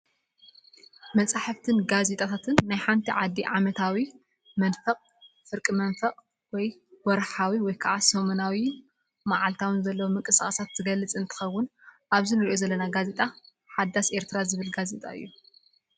መፅሓፍትን ጋዜታታትን ናይ ሓንቲ ዓዲ ዓመታዊ፣ መንፈቅ፣ ፍርቂ መንፈቅ፣ ወርሓዊ፣ ሰሙናዊ ፣መዓልታዊ ዘለው ምቅስቃሳት ዝገልፅ እንትከውን ኣብዚ እንረኦ ዘለና ጋዜጣ ሓዳስ ኤርትራ ዝብል ጋዜጣ እዩ።